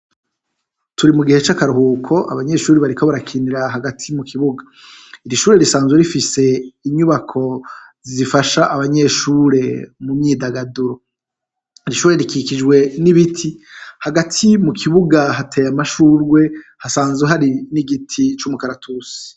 Turi mugihe c'akaruhuko abanyeshure bariko barakinira hagati mu kibuga, ishure risanzwe rifise inyubako zifasha abanyeshure mu myidagaduro, ishure rikikijwe n'ibiti hagati mukibuga hatey amashurwe hasanzwe hari n'igiti c'umukaratusi.